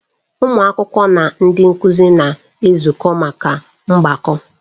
Ụmụ akwụkwọ na ndị nkụzi na-ezukọ maka mgbakọ.